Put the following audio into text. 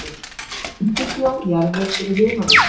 Undirbjó jarðveg fyrir humarvinnslu